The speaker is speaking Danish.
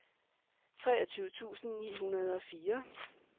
treogtyve tusind ni hundrede og fire